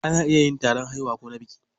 Ana iya yin taron haihuwa ko na biki.